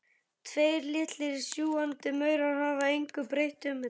Tveir litlir sjúgandi munnar hafa engu breytt um þetta.